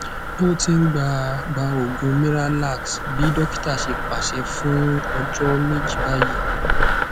o ti n gba gba oogun miralax bi dokita ṣe paṣẹ fun ọjọ meji bayii